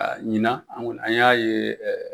ɲinan an y'a ye